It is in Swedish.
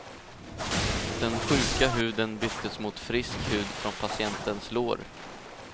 Den sjuka huden byttes mot frisk hud från patientens lår.